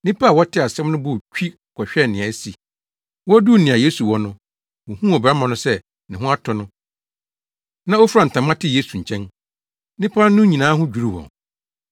Nnipa a wɔtee asɛm no bɔɔ twi kɔhwɛɛ nea asi. Woduu nea Yesu wɔ no, wohuu ɔbarima no sɛ ne ho atɔ no a ofura ntama te Yesu nkyɛn. Nnipa no nyinaa ho dwiriw wɔn.